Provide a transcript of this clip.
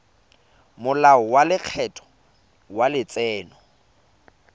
molao wa lekgetho wa letseno